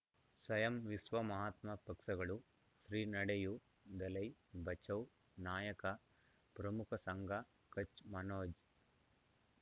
ಸ್ವಯಂ ವಿಶ್ವ ಮಹಾತ್ಮ ಪಕ್ಷಗಳು ಶ್ರೀ ನಡೆಯೂ ದಲೈ ಬಚೌ ನಾಯಕ ಪ್ರಮುಖ ಸಂಘ ಕಚ್ ಮನೋಜ್